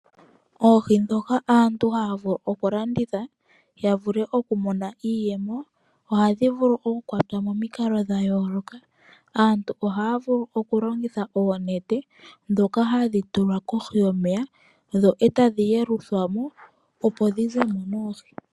Oohi ndhoka aantu haa vulu oku landitha, ya vule oku Mona iiyemo, oha dhi vulu oku kwatwa momikalo dha yooloka. Aantu ohaa vulu oku longitha oonete, ndhoka ha dhi tulwa kohi yomeya, eta dhi yeluthwamo opo dhi zemo noohi.